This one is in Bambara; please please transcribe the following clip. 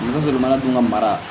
N'a sɔrɔ jamana dun ka mara